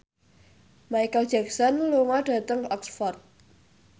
Micheal Jackson lunga dhateng Oxford